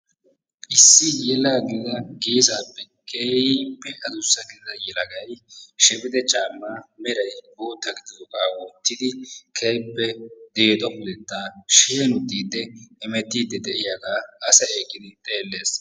Issi yalagida geesappe keehippe addussa gidida yelay shebexxe caamma meray bootta gididooga wottidi keehippe deexxo pudetta sheenuqqiidi hemettide de'iyaaga asay eqqiidi xeellees.